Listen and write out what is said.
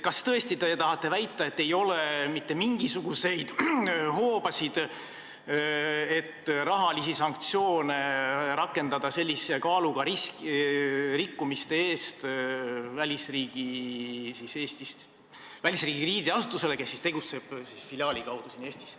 Kas te tõesti tahate väita, et ei ole mitte mingisuguseid hoobasid, et sellise kaaluga rikkumiste eest rakendada rahalisi sanktsioone välisriigi krediidiasutuse vastu, kes tegutseb Eestis oma filiaali kaudu?